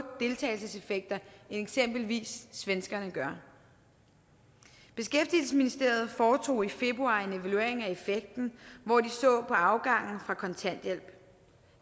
deltagelseseffekter end eksempelvis svenskerne gør beskæftigelsesministeriet foretog i februar en evaluering af effekten hvor de så på afgangen fra kontanthjælp